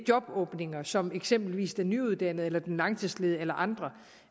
jobåbninger som eksempelvis den nyuddannede eller den langtidsledige eller andre